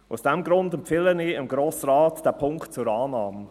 Aus diesem Grund empfehle ich dem Grossen Rat diesen Punkt zur Annahme.